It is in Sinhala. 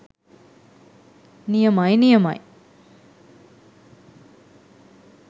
නියමයි නියමයි